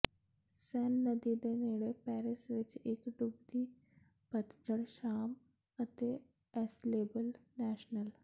ਸੇਨ ਨਦੀ ਦੇ ਨੇੜੇ ਪੈਰਿਸ ਵਿਚ ਇਕ ਡੁੱਬਦੀ ਪਤਝੜ ਸ਼ਾਮ ਅਤੇ ਅਸਲੇਬਲ ਨੇਸ਼ਨੇਲ